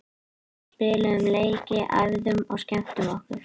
Við spiluðum leiki, æfðum og skemmtum okkur.